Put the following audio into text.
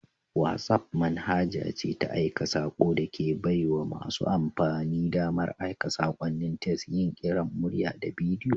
WhatsApp manhaja ce ta aika sako da ke baiwa masu amfani damar aika sakonnin tes, yin kiran murya da bidiyo.